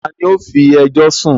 tani ó “fi ẹjọ́ sún”?